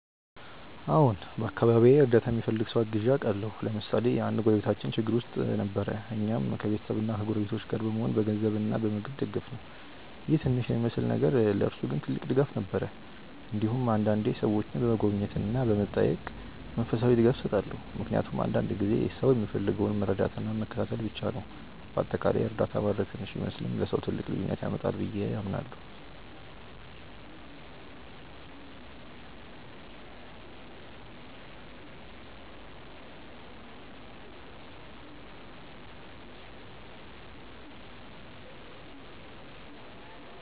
አዎን፣ በአካባቢዬ እርዳታ የሚፈልግ ሰው አግዤ አውቃለሁ። ለምሳሌ አንድ ጎረቤታችን ችግር ውስጥ ጊዜ ነበር፣ እኛም ከቤተሰብና ከጎረቤቶች ጋር በመሆን በገንዘብ እና በምግብ ደገፍነው ይህ ትንሽ የሚመስል ነገር ለእርሱ ግን ትልቅ ድጋፍ ነበር። እንዲሁም አንዳንዴ ሰዎችን በመጎብኘት እና በመጠየቅ መንፈሳዊ ድጋፍ እሰጣለሁ፣ ምክንያቱም አንዳንድ ጊዜ ሰው የሚፈልገው መረዳትና መከታተል ብቻ ነው። በአጠቃላይ እርዳታ ማድረግ ትንሽ ቢመስልም ለሰው ትልቅ ልዩነት ያመጣል ብዬ አምናለሁ።